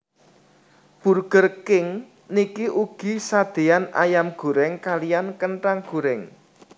Burger King niki ugi sadeyan ayam goreng kaliyan kentang goreng